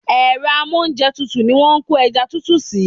Èro amóúnjetutù ni wón ko eja tutu si